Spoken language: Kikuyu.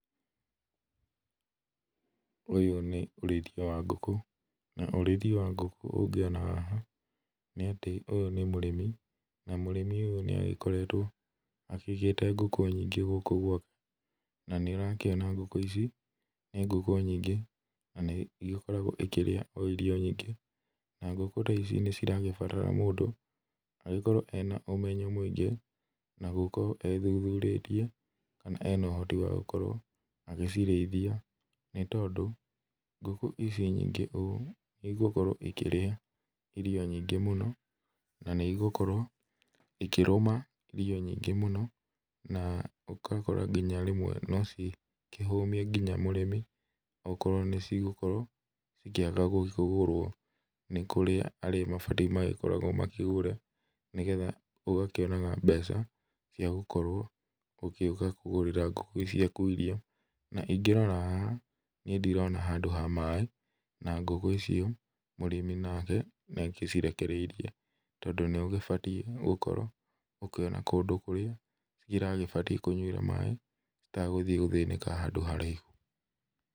Ũyũ nũ ũrĩithia wa ngũkũ, na ũríĩthia wa ngũkũ ũngĩona haha, nĩ atĩ ũyũ nĩ mũrĩmi na mũrĩmi ũyũ nĩ agĩkoretwo akĩigĩte ngũkũ nyingĩ gũkũ gwake, na nĩũrakĩona ngũkũ ici nĩ ngũkũ nyingĩ, na nĩ igĩkoragwo ikĩrĩa irio nyingĩ, na ngũkũ ta ici nĩ iragĩbatara mũndũ agĩkorwo ena ũmenyo mũingĩ, na gũkorwo ethuthurĩtie kana ena ũhoti wa gũkorwo agĩcirĩithia nĩ tondũ, ngũkũ ici nyingĩ ũũ nĩ igũkorwo ikĩrĩa irio nyingĩ mũno, na nĩ igũkorwo ikĩrũma irio nyingĩ mũno, na ũgakora nginya rĩmwe no cikĩhumie nginya mũrĩmi okorwo nĩ cigũkorwo ikĩaga gũkĩgũrwo. Nĩ kũrĩ arĩa mabatie magĩkoragwo makĩgũre, nĩgetha ũgakĩonaga mbeaca cia gũkorwo ũgĩũka kũgũrĩra ngũkũ ciaku irio. Na ingĩrora haha niĩ ndirona handũ ha maĩ, na ngũkũ icio mũrĩmi nake nĩ agĩcirekereirie, tondũ nĩ ũgĩbatie gũkorwo ũkiona kũndũ kũrĩa iragĩbatie kũnywĩra maĩ, itagũthiĩ gũthĩnĩka handũ haraihu.